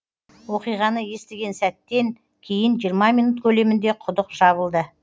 оқиғаны естіген сәттен кейін жиырма минут көлемінде құдық жабылды